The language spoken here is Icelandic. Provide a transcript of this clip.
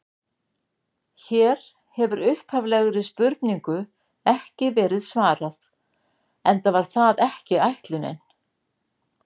Hér hefur upphaflegri spurningu ekki verið svarað, enda var það ekki ætlunin.